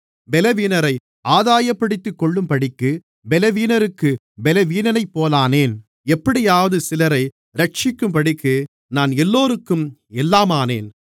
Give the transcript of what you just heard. பலவீனரை ஆதாயப்படுத்திக்கொள்ளும்படிக்குப் பலவீனருக்குப் பலவீனனைப்போலானேன் எப்படியாவது சிலரை இரட்சிக்கும்படிக்கு நான் எல்லோருக்கும் எல்லாமானேன்